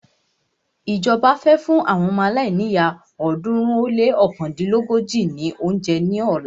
Ìjọba fẹ́ fún àwọn ọmọ aláìníyá ọ̀ọ́dúnrún ó lé ọ̀kándínlógójì ní óúnjẹ ní ọ̀la.